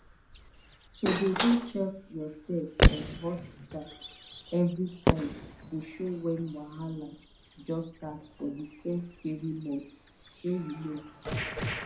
to dey go check yoursef for hospta everi time dey show wen wahala just start for di fess tiri months shey you know